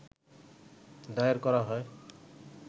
দায়ের করা হয়